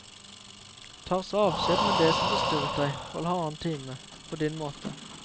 Ta så avskjed med det som forstyrret deg, for halvannen time, på din måte.